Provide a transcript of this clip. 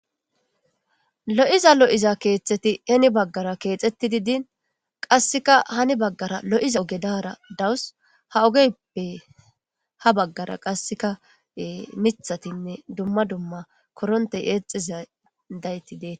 Lo'iza lo'iza keeththeti heeni baggara keexxetidii dini qasekka hanni baggara lo'iza ooge dara dawus ha oogeppe ha baggara miiththtinne korontte eexxiza dayti deettes